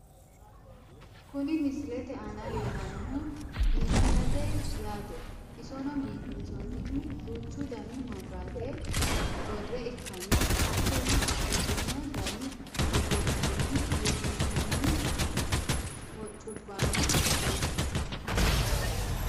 kuni misilete aana leellannohu biifisate yaate isono biifinsoonnih duuchu dani maabiraate worre ikkanna , hattono babbaxino dani egennonni urrinsoonni hoccubbano no.